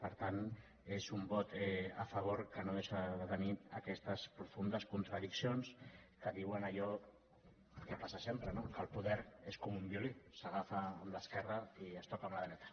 per tant és un vot a favor que no deixa de tenir aquestes profundes contradiccions que diuen allò que passa sempre no que el poder és com un violí s’agafa amb l’esquerra i es toca amb la dreta